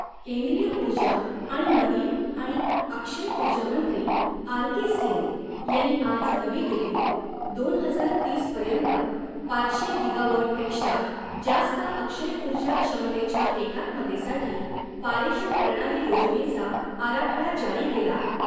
केंद्रीय ऊर्जा आणि नवीन आणि अक्षय ऊर्जा मंत्री आर के सिंग यांनी आज नवी दिल्लीत दोन हजार तीस पर्यंत पाचशे गिगाव़ॉट पेक्षा जास्त अक्षय ऊर्जा क्षमतेच्या एकात्मतेसाठी पारेषण प्रणाली योजनेचा आराखडा जारी केला.